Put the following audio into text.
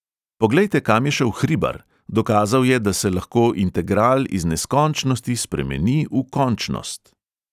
Poglejte, kam je šel hribar, dokazal je, da se lahko integral iz neskončnosti spremeni v končnost.